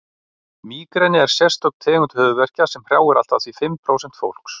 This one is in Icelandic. mígreni er sérstök tegund höfuðverkja sem hrjáir allt að því fimm prósent fólks